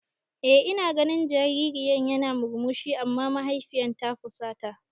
Eh ina ganin jaririn yana murmushi amma mahaifiyar ta fusata.